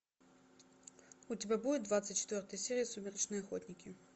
у тебя будет двадцать четвертая серия сумеречные охотники